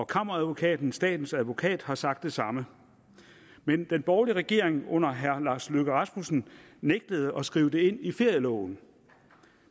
kammeradvokaten statens advokat har sagt det samme men den borgerlige regering under herre lars løkke rasmussen nægtede at skrive det ind i ferieloven